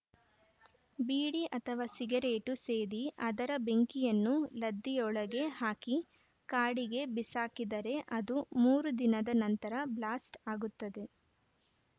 ಬೀಡಿ ಅಥವಾ ಸಿಗರೇಟು ಸೇದಿ ಅದರ ಬೆಂಕಿಯನ್ನು ಲದ್ದಿಯೊಳಗೆ ಹಾಕಿ ಕಾಡಿಗೆ ಬಿಸಾಕಿದರೆ ಅದು ಮೂರುದಿನದ ನಂತರ ಬ್ಲಾಸ್ಟ್‌ ಆಗುತ್ತದೆ